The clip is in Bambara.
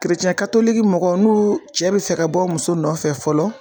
mɔgɔ n'u cɛ be fɛ ka bɔ muso nɔfɛ fɔlɔ